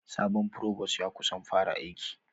Sabon frovos ya kusan fara aiki.